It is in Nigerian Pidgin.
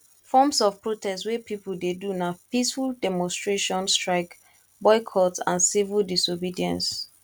forms of protest wey people dey do na peaceful demonstration strike boycott and civil disobedence